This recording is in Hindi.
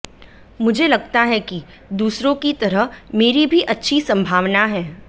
मुझे लगता है कि दूसरों की तरह मेरी भी अच्छी संभावना है